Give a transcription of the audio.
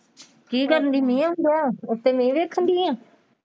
ਕੀ ਕਰਨ ਦੀ ਮੀਂਹ ਆਉਣ ਦਿਆ ਉੱਤੇ ਮੀਂਹ ਵੇਖਣ ਦੀ ਆਂ।